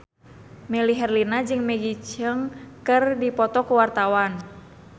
Melly Herlina jeung Maggie Cheung keur dipoto ku wartawan